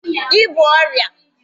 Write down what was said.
I bú ọrịa!